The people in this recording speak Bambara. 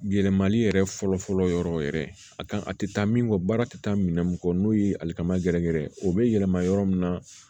Yɛlɛmali yɛrɛ fɔlɔ fɔlɔ yɔrɔ yɛrɛ a ka kan a tɛ taa min kɔ baara tɛ taa minɛn mun kɔ n'o ye alikama gɛrɛ gɛrɛ ye o bɛ yɛlɛma yɔrɔ min na